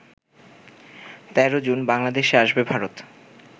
১৩ জুন বাংলাদেশে আসবে ভারত